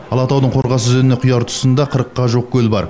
алатаудың қорғас өзеніне құяр тұсында қырыққа жуық көл бар